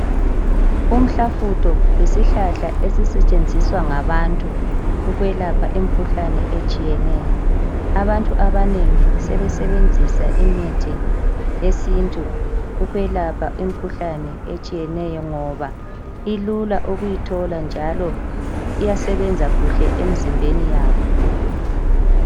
Umhlafutho yisihlahla esisetshenziswa ngabantu ukwelapha imikhuhlane etshiyeneyo. Abantu abanengi sebesebenzisa imithi yesintu ukwelapha imikhuhlane etshiyeneyo ngoba ilula ukuyithola njalo iyasebenza kuhle emizimbeni yabo.